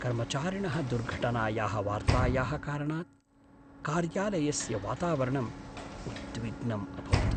कर्मचारिणः दुर्घटनायाः वार्तायाः कारणात् कार्यालयस्य वातावरणम् उद्विग्नम् अभवत्।